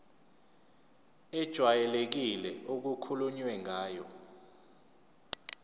ejwayelekile okukhulunywe ngayo